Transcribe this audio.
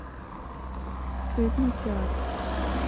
фильмы театр